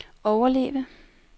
overleve